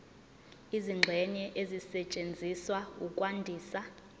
izingxenye ezisetshenziswa ukwandisa